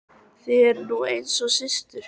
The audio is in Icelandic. Þið eruð nú einu sinni systur.